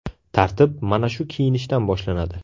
Tartib mana shu kiyinishdan boshlanadi.